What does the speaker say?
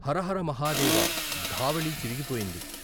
హరహర మహాదేవ ధావళీ చిరిగిపోయింది.